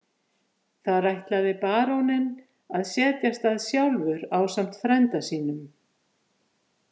Þar ætlaði baróninn að setjast að sjálfur ásamt frænda sínum.